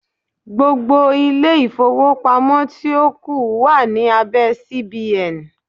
Gbogbo ilé-ìfowópamọ́ tí ó kù wà ní abẹ́ CBN.